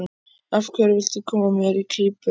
Af hverju viltu koma mér í klípu?